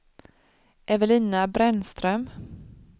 Evelina Brännström